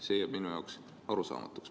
See jääb mulle arusaamatuks.